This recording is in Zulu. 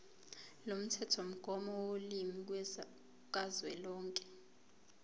lomthethomgomo wolimi kazwelonke